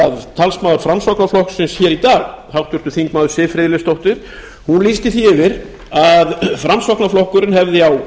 að talsmaður framsóknarflokksins í dag háttvirtur þingmaður siv friðleifsdóttir lýsti því yfir að framsóknarflokkurinn hefði á